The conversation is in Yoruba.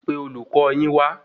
Pé olùkọ yin wa